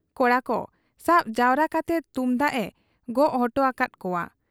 ᱠᱚᱲᱟᱠᱚ ᱥᱟᱵ ᱡᱟᱣᱨᱟ ᱠᱟᱛᱮ ᱛᱩᱢᱫᱟᱹᱜ ᱮ ᱜᱚᱜ ᱚᱰᱚᱠᱟᱠᱟᱦᱟᱫ ᱠᱚᱣᱟ ᱾